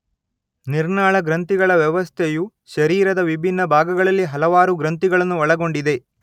ನಿರ್ನಾಳ ಗ್ರಂಥಿಗಳ ವ್ಯವಸ್ಥೆಯು ಶರೀರದ ವಿಭಿನ್ನ ಭಾಗಗಳಲ್ಲಿ ಹಲವಾರು ಗ್ರಂಥಿಗಳನ್ನು ಒಳಗೊಂಡಿದೆ